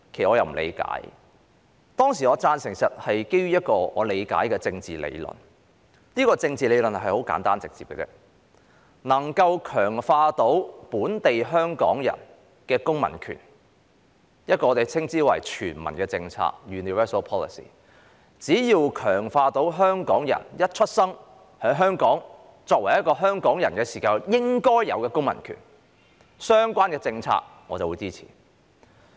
我當時投贊成票是基於我所理解的政治理論，而這套政治理論很簡單直接：能夠強化本地香港人公民權的政策，我們稱之為全民政策，只要相關政策能強化香港人在出生後於香港作為香港人應有的公民權，我便會支持。